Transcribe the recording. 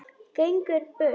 Gengur burt.